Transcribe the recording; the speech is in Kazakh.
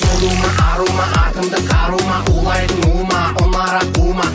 артымда қару ма улайтын у ма